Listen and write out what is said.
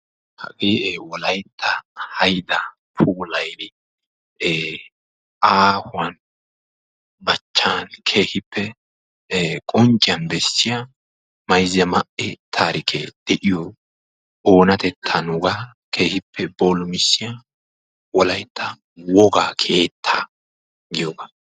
hagee wolaytta haydaa aahuwan ee qoncciyan bessiya mayzza ma'e taarikee de'iyo oonatettaa nuugaa keehippe boolumissiya wolaytta woga keettaa giyoogaa.